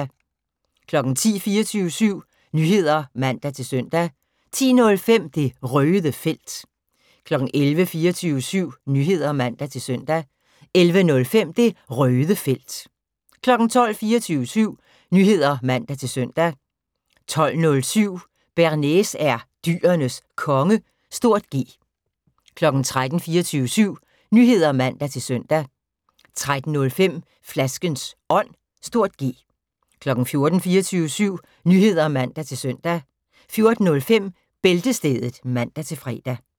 10:00: 24syv Nyheder (man-søn) 10:05: Det Røde Felt 11:00: 24syv Nyheder (man-søn) 11:05: Det Røde Felt 12:00: 24syv Nyheder (man-søn) 12:07: Bearnaise er Dyrenes Konge (G) 13:00: 24syv Nyheder (man-søn) 13:05: Flaskens Ånd (G) 14:00: 24syv Nyheder (man-søn) 14:05: Bæltestedet (man-fre)